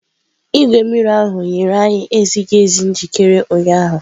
Igwe mmiri ahụ nyere anyị ezighi ezi njikere ụnyaahụ.